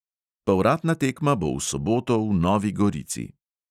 Povratna tekma bo v soboto v novi gorici.